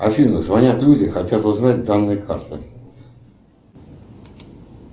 афина звонят люди хотят узнать данные карты